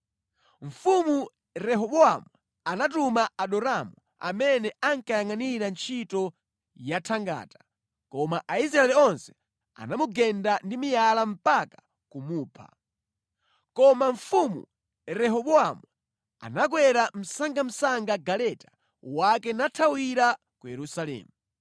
Mfumu Rehobowamu anatuma Adoramu amene ankayangʼanira ntchito yathangata, koma Aisraeli onse anamugeda ndi miyala mpaka kumupha. Koma Mfumu Rehobowamu anakwera msangamsanga galeta wake nathawira ku Yerusalemu.